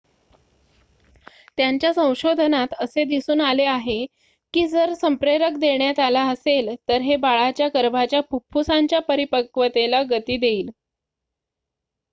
त्याच्या संशोधनात असे दिसून आले आहे की जर संप्रेरक देण्यात आला असेल तर हे बाळाच्या गर्भाच्या फुफ्फुसांच्या परिपक्वतेला गती देईल